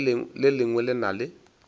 le lengwe le na le